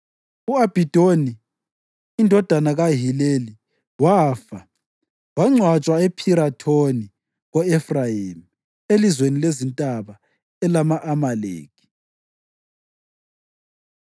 U-Abhidoni indodana kaHileli wafa, wangcwatshwa ePhirathoni ko-Efrayimi, elizweni lezintaba elama-Amaleki.